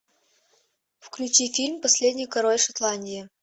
включи фильм последний король шотландии